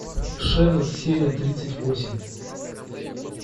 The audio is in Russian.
шерлок серия тридцать восемь